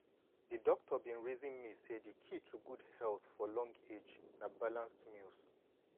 my doctor bin reason me say di key to good health for long age na balanced meals.